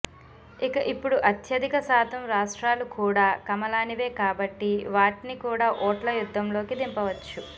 ఇక ఇప్పుడు అత్యధిక శాతం రాష్ట్రాలు కూడా కమలానివే కాబట్టి వాట్ని కూడా ఓట్ల యద్ధంలోకి దింపవచ్చు